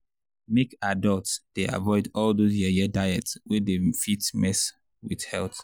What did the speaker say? make adults dey avoid all those yeye diet wey fit mess with health.